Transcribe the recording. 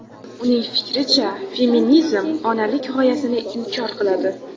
Uning fikricha, feminizm onalik g‘oyasini inkor qiladi.